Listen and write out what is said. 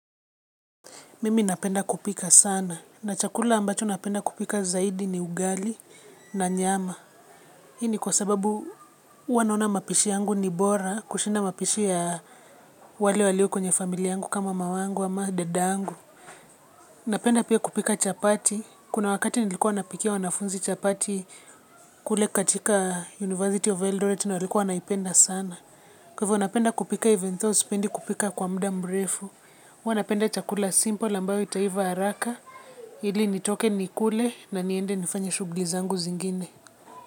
Mimi napenda kupika sana. Na chakula ambacho napenda kupika zaidi ni ugali na nyama. Hii ni kwa sababu huwa naona mapishi yangu ni bora kushinda mapishi ya wale walio kwenye familia yangu kama mamangu ama dadangu. Napenda pia kupika chapati. Kuna wakati nilikuwa napikia wanafunzi chapati kule katika University of Eldorate na walikuwa wanaipenda sana. Kwa hivyo napenda kupika even though sipendi kupika kwa muda mrefu. Huwa napenda chakula simple ambayo itaiva haraka. Ili nitoke nikule na niende nifanye shughuli zangu zingine.